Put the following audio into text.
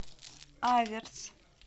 аверс